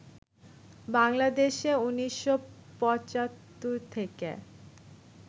বাংলাদেশে ১৯৭৫ থেকে